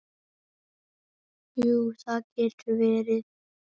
Jú, það getur verið.